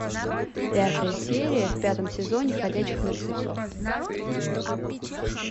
пятая серия в пятом сезоне ходячих мертвецов